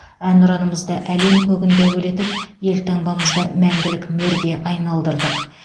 әнұранымызды әлем көгінде әуелетіп елтаңбамызды мәңгілік мөрге айналдырдық